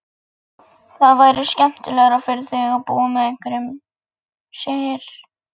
Það væri skemmtilegra fyrir þig að búa með einhverjum, segir